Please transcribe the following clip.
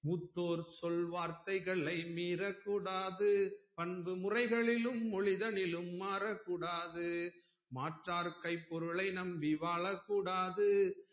மூத்தோர் சொல் வார்த்தைகளை மீறக்கூடாது பண்பு முறைகளிலும் மொழிதலிலும் மாறக்கூடாது மாற்றார் கை பொருளை நம்பி வாழக்கூடாது